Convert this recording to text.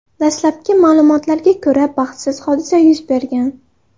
Dastlabki ma’lumotlarga ko‘ra, baxtsiz hodisa yuz bergan.